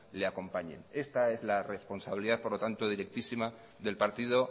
le acompañe esta es la responsabilidad por lo tanto directísima del partido